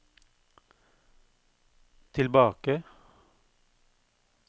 tilbake